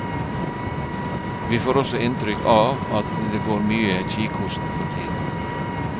Vi får også inntrykk av at det går mye kikhoste for tiden.